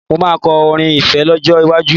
Mo máa kọ orin ìfẹ́ lọ́jọ́ iwájú